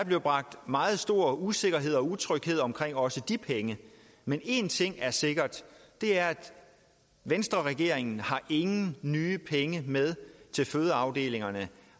bibragt meget stor usikkerhed og utryghed om også de penge men én ting er sikker og det er venstreregeringen har ingen nye penge med til fødeafdelingerne